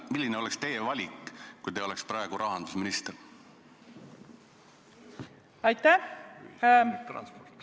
Milline oleks teie valik, kui te oleksite praegu rahandusminister?